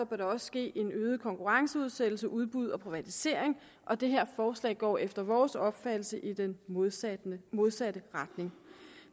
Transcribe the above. der også ske en øget konkurrenceudsættelse udbud og privatisering og det her forslag går efter vores mening opfattelse i den modsatte den modsatte retning